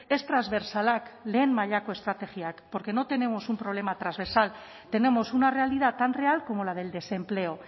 ez transbertsalak lehen mailako estrategiak porque no tenemos un problema transversal tenemos una realidad tan real como la del desempleo